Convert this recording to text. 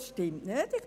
Es ist nicht wahr: